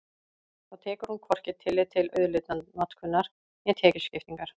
Þá tekur hún hvorki tillit til auðlindanotkunar né tekjuskiptingar.